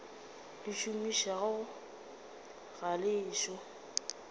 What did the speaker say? le šomišago ga le ešo